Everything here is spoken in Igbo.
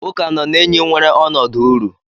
Uka nọ na enyi nwere ọnọdụ uru.